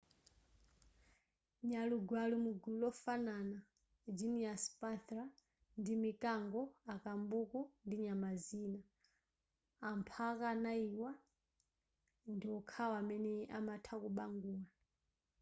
nyalugwe ali mugulu lofanana genus panthera ndi mikango akambuku ndi nyama zina. amphaka anayiwa ndi okhawo amene amatha kubangula